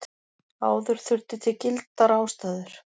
Áður þurfti til gildar ástæður.